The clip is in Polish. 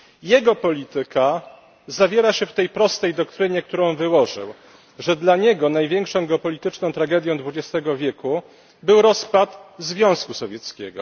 Jego polityka zawiera się w tej prostej doktrynie, którą wyłożył że dla niego największą geopolityczną tragedią dwudziestego wieku był rozpad Związku Sowieckiego.